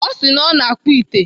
Ọ si na ọ na-akpụ ite.